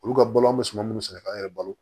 Olu ka balɔn be suman munnu sɛnɛ k'an yɛrɛ balo